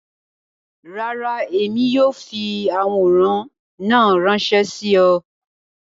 Rárá, Emi kii yóò fi aworan naa ranṣẹ si ọ.